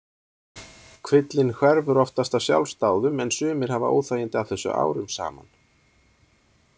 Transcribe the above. Kvillinn hverfur oftast af sjálfsdáðum en sumir hafa óþægindi af þessu árum saman.